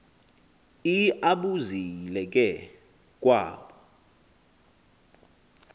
iiabuzile ke kwaabo